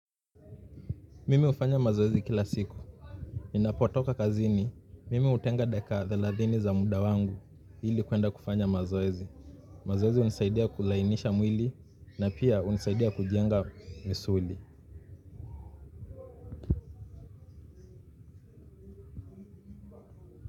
Mimi hufanya mazoezi kila siku. Ninapotoka kazini, mimi hutenga dakika thelathini za muda wangu ili kuenda kufanya mazoezi. Mazoezi hunisaidia kulainisha mwili na pia hunisaidia kujenga misuli.